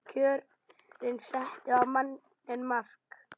Kjörin settu á manninn mark